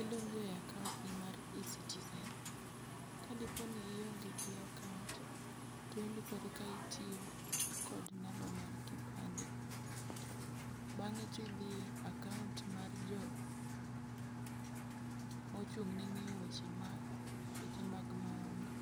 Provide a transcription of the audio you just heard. Idonje akoantni mar eCitizen. Kadeponi ionge gi akaont, to indikori ka itio kod namba mar kipande. Bang'e tidhie akaont mar jo mochung'ne ng'io wech ma weche mag maundu,